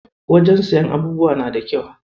Wajen siyan abubuwa na da kyau.